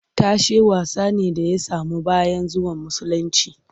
Tashe wasa ne da ya samu bayan zuwan musulunci